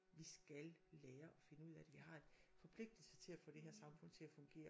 Vi skal lære at finde ud af det